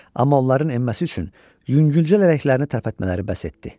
Amma onların enməsi üçün yüngülcə lələklərini tərpətmələri bəs etdi.